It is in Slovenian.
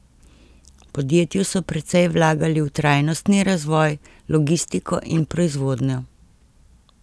V podjetju so precej vlagali v trajnostni razvoj, logistiko in proizvodnjo.